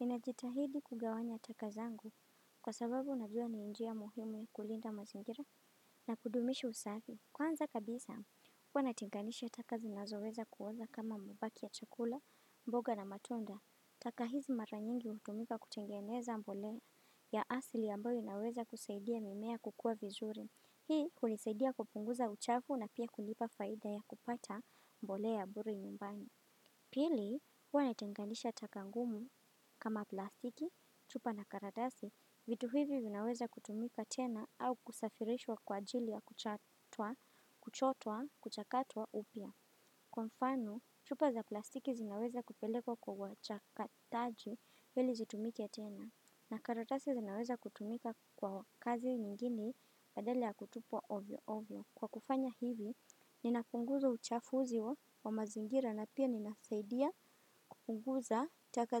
Ninajitahidi kugawanya takazangu kwa sababu najua ni njia muhimu kulinda mazingira na kudumishi usafi. Kwanza kabisa, huwa natenganisha taka zinazoweza kuwoza kama mabaki ya chakula, mboga na matunda. Taka hizi maranyingi utumika kutengeneza mboleya asli ambayo inaweza kuseidia mimea kukua vizuri. Hii hunisaidia kupunguza uchafu na pia kulipa faida ya kupata mbole ya bure nyumbani. Pili, huwa netengandisha takangumu kama plastiki, chupa na karadasi, vitu hivi zinaweza kutumika tena au kusafirishwa kwa ajili ya kuchotwa, kuchotwa, kuchakatwa upia. Kwa mfano, chupa za plastiki zinaweza kupelekwa kwa wachakataji hili zitumike tena, na karadasi zinaweza kutumika kwa kazi ngini badali ya kutupwa ovyo-ovyo. Kwa kufanya hivi, ninapunguzo uchafuzi wa mazingira na pia ninasaidia kupunguza taka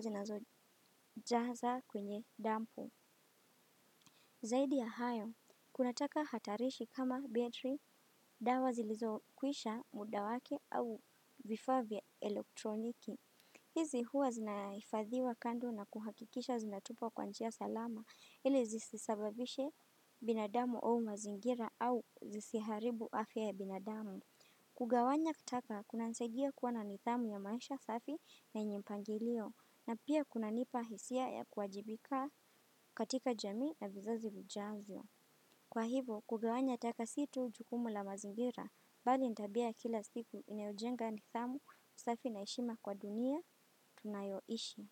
zinazojaza kwenye dampu. Zaidia hayo, kuna taka hatarishi kama battery, dawa zilizokuisha mudawake au vifavya elektroniki. Hizi huwa zinaifadhiwa kandu na kuhakikisha zinatupa kwanjia salama. Ile zisisababishe binadamu au mazingira au zisiharibu afya ya binadamu. Kugawanya kataka kuna nisadia kuana nithamu ya maisha safi na yenye mpangilio na pia kuna nipa hisia ya kuajibika katika jami na vizazi vijazio. Kwa hivo kugawanya taka situ jukumu la mazingira bali nitabia kila siku inayojenga nithamu usafi na heshima kwa dunia tunayoishi.